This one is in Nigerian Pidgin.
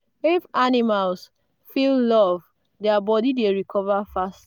if animals feel love their body dey recover fast